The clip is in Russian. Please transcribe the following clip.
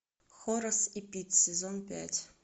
хорос и пит сезон пять